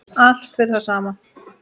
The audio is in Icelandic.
Allt fyrir það sama.